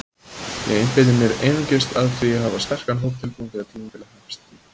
Ég einbeiti mér einungis að því að hafa sterkan hóp tilbúinn þegar tímabilið hefst.